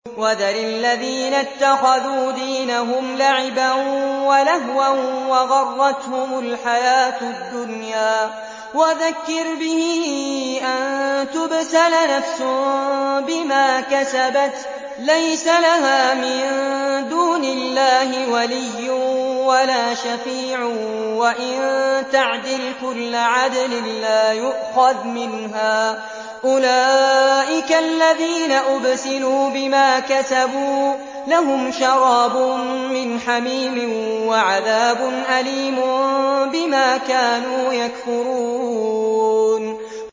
وَذَرِ الَّذِينَ اتَّخَذُوا دِينَهُمْ لَعِبًا وَلَهْوًا وَغَرَّتْهُمُ الْحَيَاةُ الدُّنْيَا ۚ وَذَكِّرْ بِهِ أَن تُبْسَلَ نَفْسٌ بِمَا كَسَبَتْ لَيْسَ لَهَا مِن دُونِ اللَّهِ وَلِيٌّ وَلَا شَفِيعٌ وَإِن تَعْدِلْ كُلَّ عَدْلٍ لَّا يُؤْخَذْ مِنْهَا ۗ أُولَٰئِكَ الَّذِينَ أُبْسِلُوا بِمَا كَسَبُوا ۖ لَهُمْ شَرَابٌ مِّنْ حَمِيمٍ وَعَذَابٌ أَلِيمٌ بِمَا كَانُوا يَكْفُرُونَ